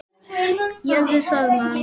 Hörður Þormar.